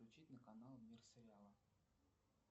включить на канал мир сериала